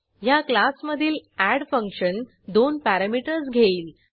ह्या क्लासमधील add function दोन पॅरॅमीटर्स घेईल